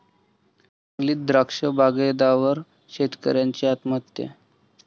सांगलीत द्राक्ष बागायतदार शेतकऱ्याची आत्महत्या